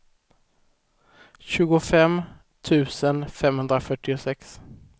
tjugofem tusen femhundrafyrtiosex